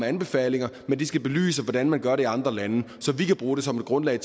anbefalinger men de skal belyse hvordan man gør det i andre lande så vi kan bruge det som grundlag